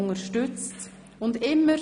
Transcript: Entschuldigt abwesend sind: